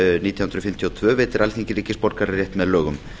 nítján hundruð níutíu og tvö veitir alþingi ríkisborgararétt með lögum